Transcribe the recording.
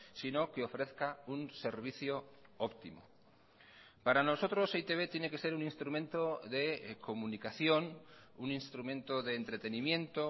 sino que ofrezca un servicio óptimo para nosotros e i te be tiene que ser un instrumento de comunicación un instrumento de entretenimiento